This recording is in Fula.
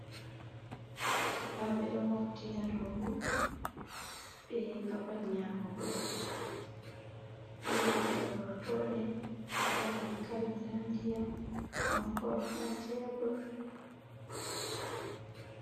Sukabe ɗo mofti ha ɗow bo. beyi babal nyamugo. Beɗo nyakka gortoɗe nɗa ɗankali nɗa nɗiyam on kok ha ɗow tebor.